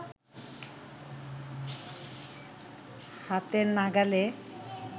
হাতের নাগালে